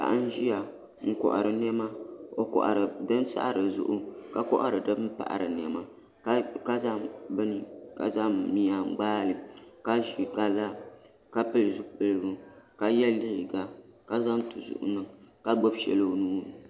Paɣa n ʒiya n kohari niɛma o kohari din saɣari zuɣu ka kohari din paɣari niɛma ka zaŋ miya n gbaali ka ʒi ka pili zipiligu ka yɛ liiga ka zaŋ tuzuɣu niŋ ka gbubi shɛli o nuuni